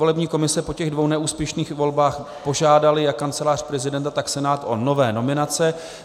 Volební komise po těch dvou neúspěšných volbách požádala jak Kancelář prezidenta, tak Senát o nové nominace.